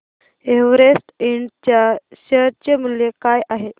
Everest ind च्या share चे मूल्य काय आहे